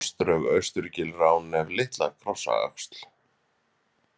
Mosdrög, Austurgil, Ránef, Litla-Krossöxl